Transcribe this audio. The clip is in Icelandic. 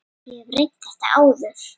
Ég hef reynt þetta áður.